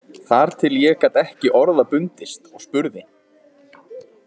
Þar til ég gat ekki orða bundist og spurði: